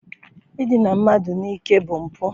Idina mmadụ n'ike bụ mpụ.